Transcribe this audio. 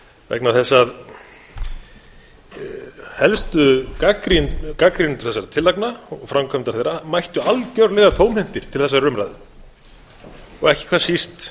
vegna þess að helstu gagnrýnendur þessara tillagna og framkvæmdar þeirra mættu algjörlega tómhentir til þessarar umræðu og ekki hvað síst